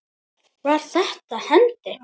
Var þetta hendi?